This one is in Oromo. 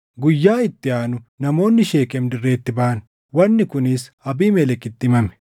Guyyaa itti aanu namoonni Sheekem dirreetti baʼan; wanni kunis Abiimelekitti himame.